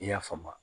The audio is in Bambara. I y'a faamu